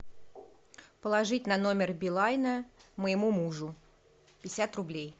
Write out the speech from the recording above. положить на номер билайна моему мужу пятьдесят рублей